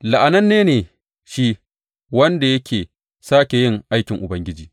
La’ananne ne shi wanda yake sake a yin aikin Ubangiji!